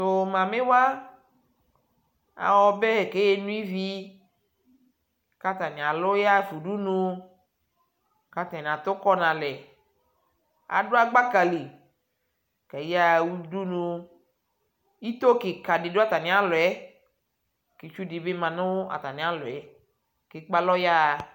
Tuu mamiwa awa ɔbɛ keno ivii katani aluu yaɣafa udunu katani atukɔ nalɛ aduagbaka li kayaɣa udunu itoo kiika ɖidu atanialɔɛ kitsudibi maa nu atanialɔɛ kekpealɔ yaɣa